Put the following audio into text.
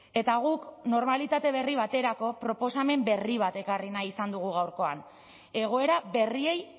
eta guk normalitate berri baterako proposamen berri bat ekarri nahi izan dugu gaurkoan egoera berriei